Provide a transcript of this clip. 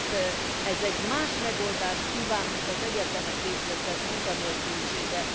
Tehát ez más megoldást kíván, mint az egyetemet végzettek munkanélkülisége.